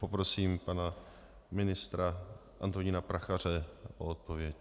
Poprosím pana ministra Antonína Prachaře o odpověď.